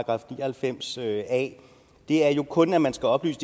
og halvfems a er jo kun at man skal oplyse